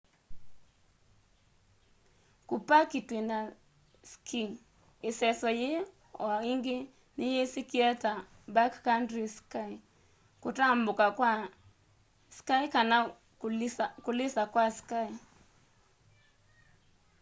kupaki twina ski iseso yii o ingi niyisikie ta backcountry ski kutambuka kwa ski kana kulisa kwa ski